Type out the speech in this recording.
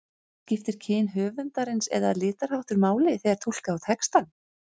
Skiptir kyn höfundarins eða litarháttur máli þegar túlka á textann?